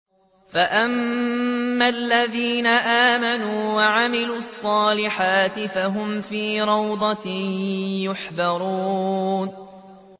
فَأَمَّا الَّذِينَ آمَنُوا وَعَمِلُوا الصَّالِحَاتِ فَهُمْ فِي رَوْضَةٍ يُحْبَرُونَ